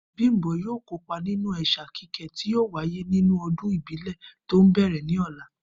Bímpé yóò kópa nínú è̩sà kíké tí yóò wáyé nínú o̩dún ìbílè̩ tó ń bè̩rè̩ ní ò̩la